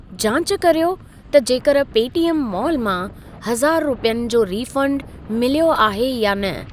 जांच कर्यो त जेकर पेटीएम माॅल मां हज़ारु रुपियनि जो रीफंड मिलियो आहे या न?